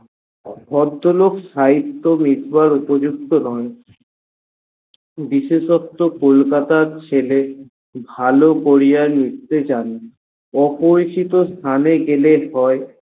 ভদ্রলোক সাহিত্য লিখবার উপযুক্ত নন বিশেষত্ব কলকাতার ছেলে ভালো পড়িয়া লিখতে যানে অপরিচিত স্থানে গেলে হয়।